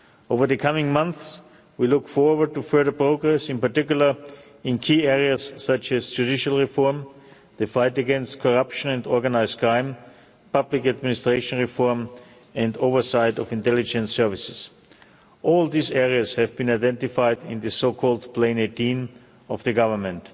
Over the coming months we look forward to further progress, in particular in key areas such as judicial reform, the fight against corruption and organised crime, public administration reform and the oversight of intelligence services. All these areas have been identified in the so-called Plan 18 of the government.